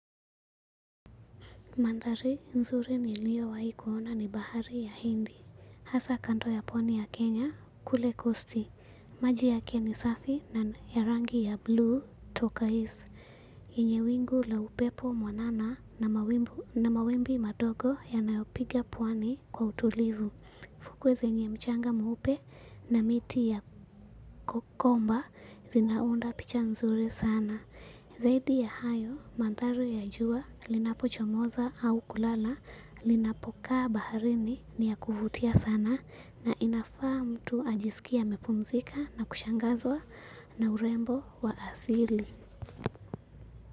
Mandhari nzuri niliyowahi kuona ni bahari ya hindi. Hasa kando ya pwani ya Kenya, kule pwani. Maji yake ni safi na rangi ya blue toka juu. Yenye wingu la upepo mwanana na mawimbi madogo yanayopiga pwani kwa utulivu. Fukwe zenye mchanga mweupe na miti ya komba. Zinaunda picha nzuri sana. Zaidi ya hayo, mandhari ya jua, linapochomoza au kulala, linapokaa baharini ni ya kuvutia sana na inafaa mtu ajisikie amepumzika na kushangazwa na urembo wa asili.